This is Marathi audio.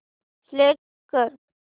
सिलेक्ट कर